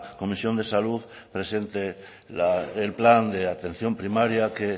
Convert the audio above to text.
comisión de salud presente el plan de atención primaria que